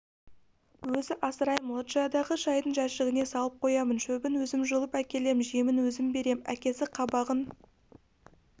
өзі асыраймын лоджиядағы шайдың жәшігіне салып қоямын шөбін өзім жұлып әкелем жемін өзім берем әкесі қабағын